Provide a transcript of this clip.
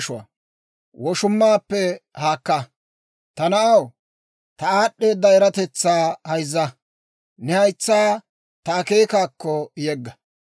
Ta na'aw, ta aad'd'eeda eratetsaa hayzza; ne haytsaa ta akeekaakko yegga.